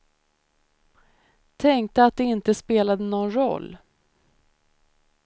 Tänkte att det inte spelade någon roll.